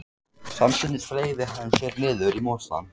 Samstundis fleygði hann sér niður í mosann.